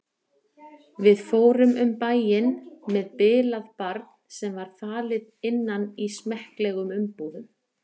Við fórum um bæinn með bilað barn sem var falið innan í smekklegum umbúðum.